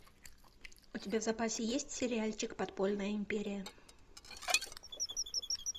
у тебя в запасе есть сериальчик подпольная империя